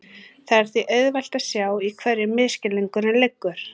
Það er því auðvelt að sjá í hverju misskilningurinn liggur.